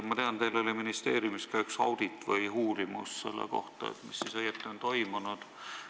Ma tean, et teil oli ministeeriumis üks audit või uurimus selle kohta, mis siis õieti on toimunud.